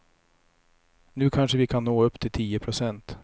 Nu kanske vi kan nå upp till tio procent.